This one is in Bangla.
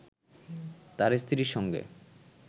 তার স্ত্রীর সঙ্গে